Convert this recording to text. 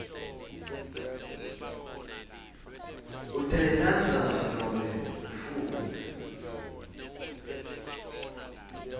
utayilandza nobe ufuna